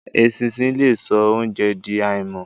Eṣinṣin le so óunjẹ di àìmọ́.